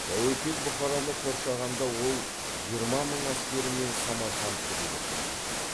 тәуекел бұхараны қоршағанда ол жиырма мың әскерімен самарқандты билеп тұрған